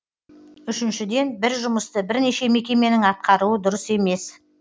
үшіншіден бір жұмысты бірнеше мекеменің атқаруы дұрыс емес